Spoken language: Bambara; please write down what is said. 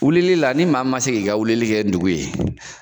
Wilili la ni maa min ma se k'i ka wilili kɛ ndugu ye